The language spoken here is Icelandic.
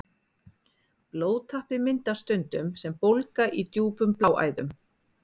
Blóðtappi myndast stundum sem bólga í djúpum bláæðum.